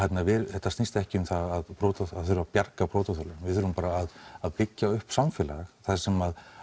þetta snýst ekki um það að þurfa að bjarga brotaþolum við þurfum bara að byggja upp samfélag þar sem